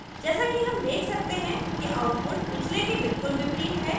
जैसा कि हम देख सकते हैं कि output पिछले के बिलकुल विपरीत है